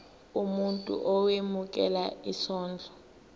umuntu owemukela isondlo